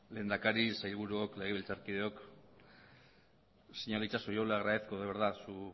lehendakari sailburuok legebiltzarkideok señor itxaso yo le agradezco de verdad su